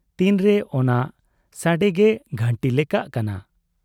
ᱛᱤᱱᱨᱮ ᱚᱱᱟ ᱥᱟᱰᱮᱜᱮ ᱜᱷᱟᱺᱴᱤ ᱞᱮᱠᱟᱜ ᱠᱟᱱᱟ ᱾